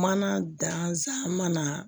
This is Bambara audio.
Mana danzan mana